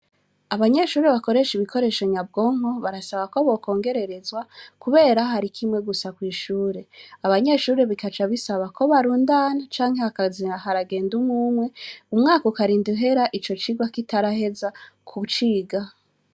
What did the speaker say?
Abanyeshuri bakoresha ibikoresho nyabwonko barasaba ko bokongererezwa, kubera hari kimwe gusa kw'ishure abanyeshuri bikaca bisaba ko barundana canke hakazira haragenda umwumwe umwaka ukarinda uhera ico cirwa kitaraheza ku ciga.